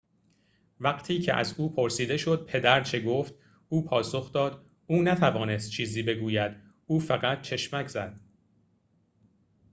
وقتی که از او پرسیده شد پدر چه گفت او پاسخ داد او نتوانست چیزی بگوید او فقط چشمک زد